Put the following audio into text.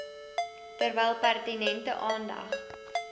terwyl pertinente aandag